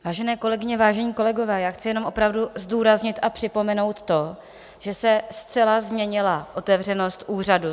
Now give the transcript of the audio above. Vážené kolegyně, vážení kolegové, já chci jenom opravdu zdůraznit a připomenout to, že se zcela změnila otevřenost úřadu.